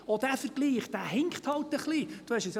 Auch dieser Vergleich hinkt halt ein bisschen.